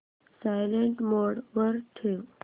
silent mode वर ठेव